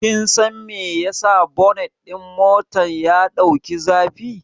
Kin san me yasa bonet ɗin motar ya ɗau zafi?